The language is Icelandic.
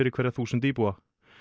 hverja þúsund íbúa